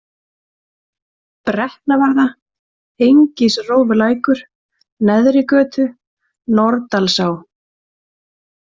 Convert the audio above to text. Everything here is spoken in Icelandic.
Brekknavarða, Engisrófulækur, Neðrigötur, Nordalsá